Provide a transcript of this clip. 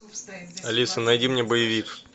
алиса найди мне боевик